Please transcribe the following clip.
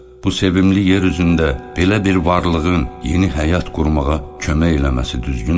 Bu sevimli yer üzündə belə bir varlığın yeni həyat qurmağa kömək eləməsi düzgündürmü?